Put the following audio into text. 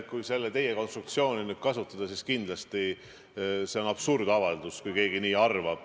Kui teie konstruktsiooni kasutada, siis kindlasti on see absurdavaldus, kui keegi nii arvab.